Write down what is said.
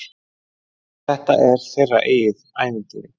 Þetta er þeirra eigið ævintýr.